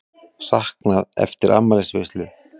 Saknað eftir afmælisveislu